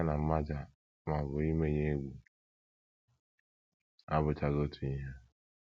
Ya na mmaja ma ọ bụ imenye egwu abụchaghị otu ihe.